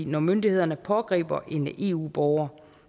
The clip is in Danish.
når myndighederne pågriber en eu borger